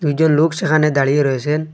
কয়েকজন লোক সেখানে দাঁড়িয়ে রয়েছেন।